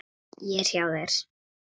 Ég er hjá þér.